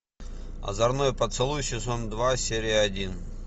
озорной поцелуй сезон два серия один